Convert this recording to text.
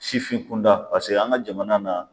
Sifin kunda pase an ka jamana na